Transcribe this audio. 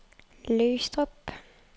Løgstrup